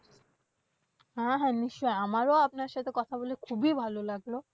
হ্যাঁ হ্যাঁ নিশ্চয়ই, আমারও আপনার সাথে কথা বলে খুবই ভালো লাগলো।